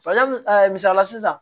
misalila sisan